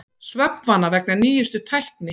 Svefnvana vegna nýjustu tækni